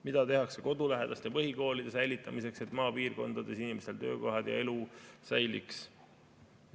Mida tehakse kodulähedaste põhikoolide säilitamiseks, et maapiirkondades inimestel töökohad ja elu säiliks?